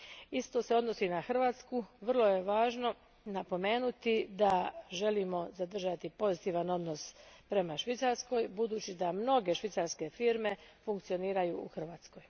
Isto se odnosi i na Hrvatsku, vrlo je važno napomenuti da želimo zadržati pozitivan odnos prema Švicarskoj jer mnoge švicarske firme funkcioniraju u Hrvatskoj.